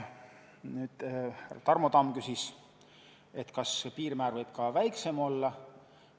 Tarmo Tamm küsis, kas see piirmäär võib ka väiksem olla.